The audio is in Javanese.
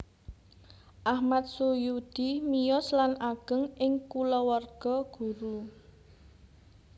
Achmad Sujudi miyos lan ageng ing kulawarga guru